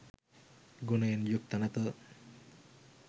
ගුණයෙන් යුක්ත නැත